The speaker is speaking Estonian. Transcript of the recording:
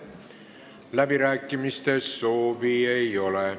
Läbirääkimiste soovi ei ole.